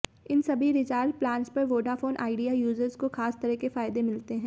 इन सभी recharge plans पर Vodafone Idea users को खास तरह के फायदे मिलते हैं